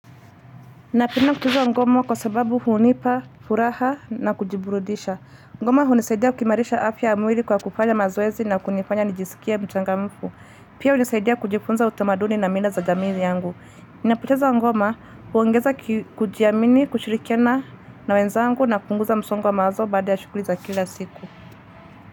Na penda kucheza ngoma kwa sababu hunipa, furaha na kujiburudisha. Ngoma hunisaidia kuimarisha afya ya mwili kwa kufanya mazoezi na kunifanya nijisikie mchangamfu. Pia hunisaidia kujifunza utamaduni na mila za jamii yangu. Ninapocheza ngoma, huongeza kujiamini, kushirikiana na wenzangu na kupunguza msongo wa mawazo baada ya shuguli za kila siku.